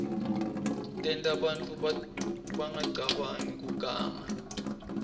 tenta bantfu bangacabangi kuganga